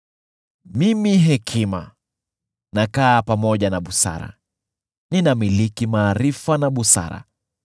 “Mimi hekima, nakaa pamoja na busara; ninamiliki maarifa na busara.